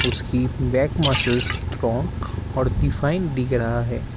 उसकी back muscles strong और define दिख रहा है।